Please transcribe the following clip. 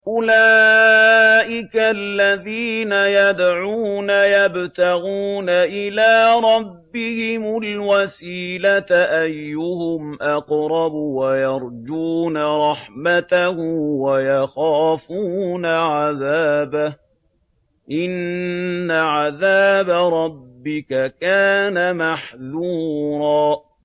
أُولَٰئِكَ الَّذِينَ يَدْعُونَ يَبْتَغُونَ إِلَىٰ رَبِّهِمُ الْوَسِيلَةَ أَيُّهُمْ أَقْرَبُ وَيَرْجُونَ رَحْمَتَهُ وَيَخَافُونَ عَذَابَهُ ۚ إِنَّ عَذَابَ رَبِّكَ كَانَ مَحْذُورًا